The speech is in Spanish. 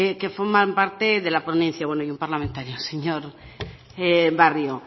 que forman parte de la ponencia bueno y un parlamentario el señor barrio